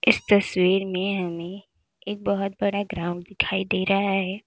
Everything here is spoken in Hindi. इस तस्वीर में हमें एक बहुत बड़ा ग्राउंड दिखाई दे रहा है।